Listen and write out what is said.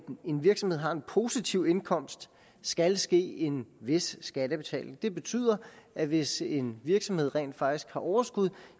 en virksomhed har en positiv indkomst skal ske en vis skattebetaling det betyder at hvis en virksomhed rent faktisk har overskud